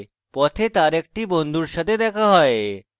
পথে তার একটি বন্ধুর সাথে দেখা হয়